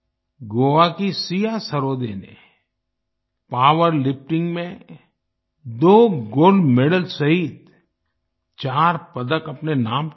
गोवा की सिया सरोदे ने पावरलिफ्टिंग में 2 गोल्ड मेडल्स सहित चार पदक अपने नाम किये